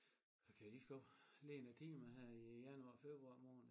A kan lige så godt lægge nogle timer her i januar februar måned